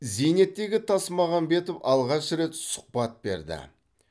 зейнеттегі тасмағамбетов алғаш рет сұхбат берді